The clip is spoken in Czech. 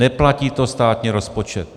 Neplatí to státní rozpočet.